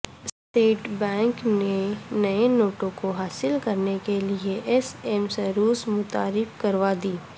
state bank نے نئے نوٹوں کو حاصل کرنے کیلئے ایس ایم سروس متعارف کروادی